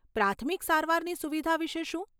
પ્રાથમિક સારવારની સુવિધા વિશે શું?